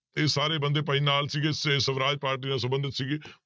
ਇਹ ਸਾਰੇ ਬੰਦੇ ਭਾਈ ਨਾਲ ਸੀਗੇ ਸ~ ਸਵਰਾਜ ਪਾਰਟੀ ਨਾਲ ਸੰਬੰਧਿਤ ਸੀਗੇ